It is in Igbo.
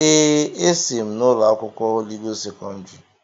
Èè, esi m ụlọ akwụkwọ Holị Gost sekọndrị.